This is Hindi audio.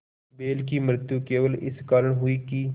बैल की मृत्यु केवल इस कारण हुई कि